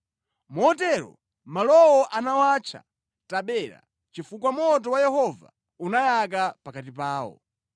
Motero malowo anawatcha Tabera, chifukwa moto wa Yehova unayaka pakati pawo.